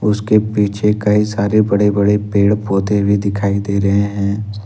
उसके पीछे कई सारे बड़े बड़े पेड़ पौधे भी दिखाई दे रहे हैं।